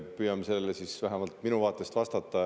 Püüan sellele siis vähemalt enda vaatest vastata.